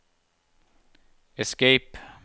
escape